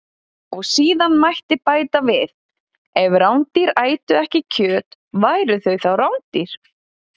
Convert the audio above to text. Og síðan mætti bæta við: Ef rándýr ætu ekki kjöt, væru þau þá rándýr?